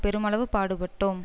பெருமளவு பாடுபட்டோம்